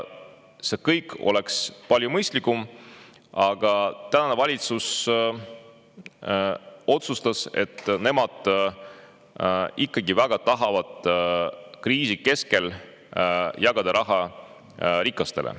See kõik oleks palju mõistlikum, aga tänane valitsus otsustas, et nemad ikkagi väga tahavad kriisi keskel jagada raha rikastele.